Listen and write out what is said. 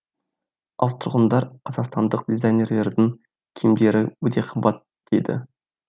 ал тұрғындар қазақстандық дизайнерлердің киімдері өте қымбат дейді